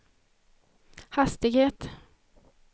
hastighet